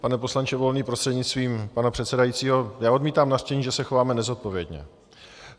Pane poslanče Volný prostřednictvím pana předsedajícího, já odmítám nařčení, že se chováme nezodpovědně.